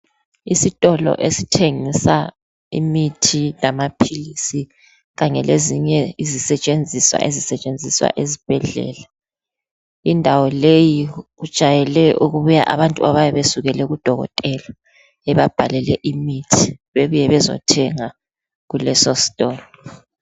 Isitolo esithengisa imithi lamaphilisi kanye lezinye izisetshenziswa ezisetshenziswa esibhedlela. Indawo leyi kujayele ukubuya abantu abayabe besukule kudokotela ebabhalele imithi, bebuye bezothenga kulesositolo.